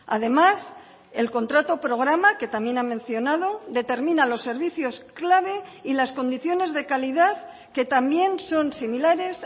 además el contrato programa que también ha mencionado determina los servicios clave y las condiciones de calidad que también son similares